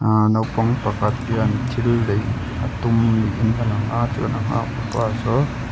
ahh naupang pakhat hian thil lei a tum niin alang a chuan a nghak tupa saw--